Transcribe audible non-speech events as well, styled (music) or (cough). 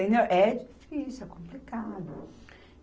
(unintelligible) É difícil, é complicado.